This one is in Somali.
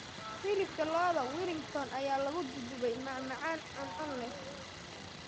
Hilibka lo'da Wellington ayaa lagu duuduubay macmacaan cuncun leh.